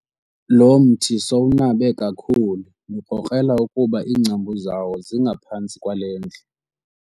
Lo mthi sowunabe kakhulu ndikrokrela ukuba iingcambu zawo zingaphantsi kwale ndlu.